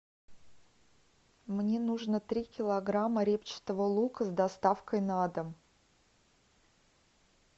мне нужно три килограмма репчатого лука с доставкой на дом